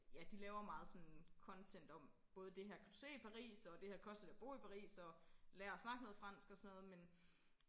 Ja de laver meget sådan content om både det her kan du se i Paris og det her koster det at bo i Paris og lad os snakke noget fransk og sådan noget men